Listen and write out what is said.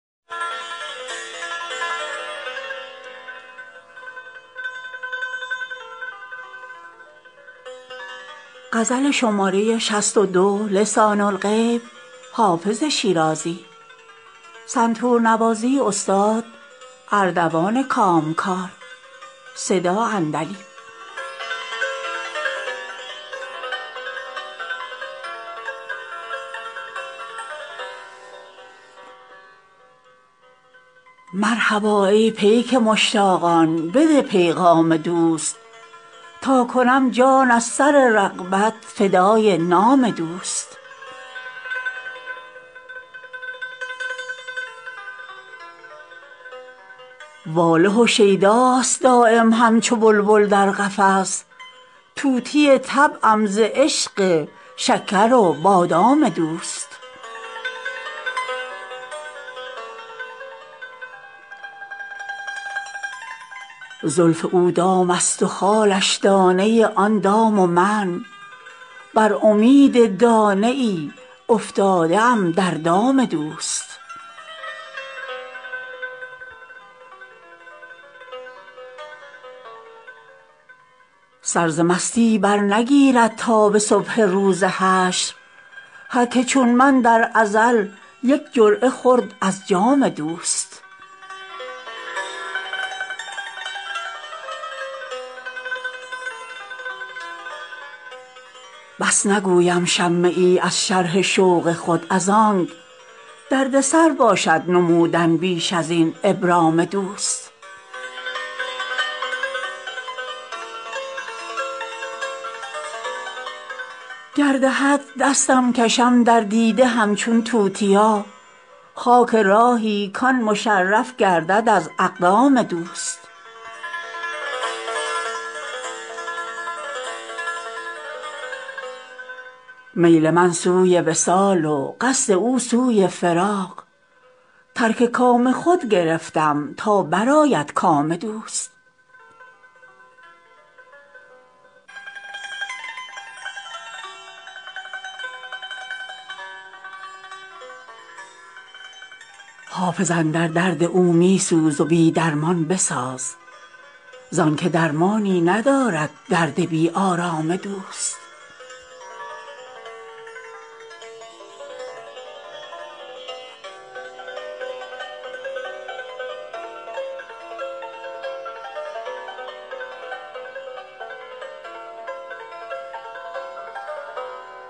مرحبا ای پیک مشتاقان بده پیغام دوست تا کنم جان از سر رغبت فدای نام دوست واله و شیداست دایم همچو بلبل در قفس طوطی طبعم ز عشق شکر و بادام دوست زلف او دام است و خالش دانه آن دام و من بر امید دانه ای افتاده ام در دام دوست سر ز مستی برنگیرد تا به صبح روز حشر هر که چون من در ازل یک جرعه خورد از جام دوست بس نگویم شمه ای از شرح شوق خود از آنک دردسر باشد نمودن بیش از این ابرام دوست گر دهد دستم کشم در دیده همچون توتیا خاک راهی کـ آن مشرف گردد از اقدام دوست میل من سوی وصال و قصد او سوی فراق ترک کام خود گرفتم تا برآید کام دوست حافظ اندر درد او می سوز و بی درمان بساز زان که درمانی ندارد درد بی آرام دوست